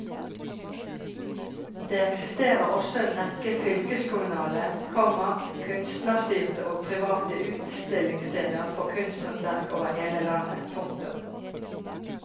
Det eksisterer også en rekke fylkeskommunale, komma kunstnerstyrte og private utstillingssteder for kunsthåndverk over hele landet. punktum